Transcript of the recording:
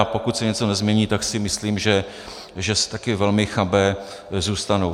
A pokud se něco nezmění, tak si myslím, že také velmi chabé zůstanou.